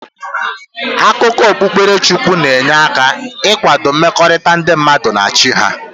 Akụkọ okpukpere Chukwu na-enye aka ị kwado mmekọrịta ndị mmadụ na Chi ha.